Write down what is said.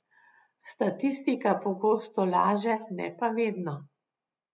Statistika pogosto laže, ne pa vedno.